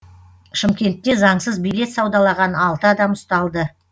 шымкентте заңсыз билет саудалаған алты адам ұсталды